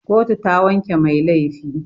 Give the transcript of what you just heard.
Kotu ta wanke mai laifi.